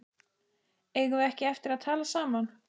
Eigum við ekki eftir að tala saman?